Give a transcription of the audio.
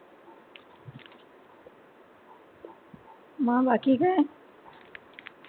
म बाकी काय?